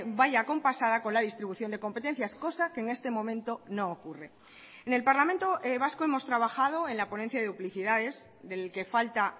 vaya acompasada con la distribución de competencias cosa que en este momento no ocurre en el parlamento vasco hemos trabajado en la ponencia de duplicidades del que falta